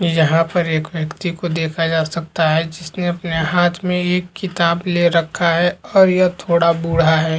यहाँ पर एक व्यक्ति को देखा जा सकता है जिसने अपने हाथ में एक किताब ले रखा है और यह थोड़ा बूढ़ा है।